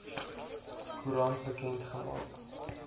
koerant bekend gemaak